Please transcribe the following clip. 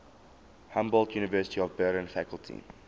humboldt university of berlin faculty